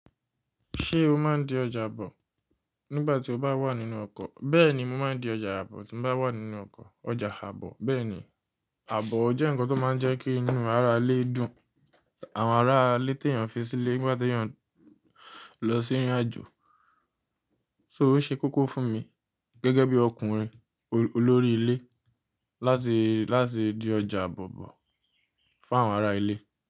Ṣé o máa ń di ọjà àbọ̀ nígbà tí o bá wà nínú ọkọ̀? Bẹ́ẹ̀ ni mo máa ń di ọjà àbọ̀ tí mo bá wà nínú ọkọ̀. Ọjà àbọ̀. Bẹ́ẹ̀ ni, àbọ̀ jẹ́ ǹkan tó máa ń jẹ́ kí inú ará ilé dùn. Àwọn ará ilé tí èèyàn fi sílé nígbà tí èèyàn ń lọ sí ìrìnàjò. So ò ṣe kókó fún mi gẹ́gẹ́ bí ọkùnrin olórí ilé láti, láti di ọjà àbọ̀ bọ̀ fún àwọn ará ilé?